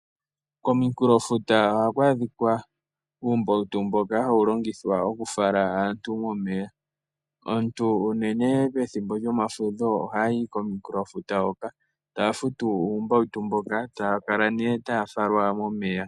Komikulofuta ohaku adhika uumbautu mboka hawu longithwa okufala aantu momeya. Aantu unene pethimbo lyomafudho ohaya yi komikulofuta hoka taya futu uumbautu mboka, taya kala taya falwa momeya.